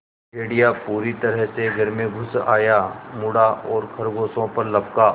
भेड़िया पूरी तरह से घर में घुस आया मुड़ा और खरगोशों पर लपका